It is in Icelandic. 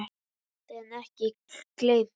Geymt en ekki gleymt